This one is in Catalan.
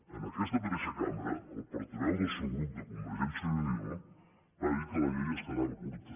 en aquesta mateixa cambra el portaveu del seu grup de convergència i unió va dir que la llei es quedava curta